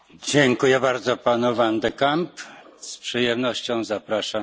Herr Präsident, sehr geehrte Frau Kommissarin, sehr geehrter Herr Kommissar!